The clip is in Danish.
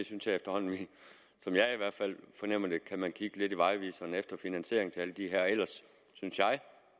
synes efterhånden sådan fornemmer jeg kan kigge lidt i vejviseren efter finansiering til alle de her ellers synes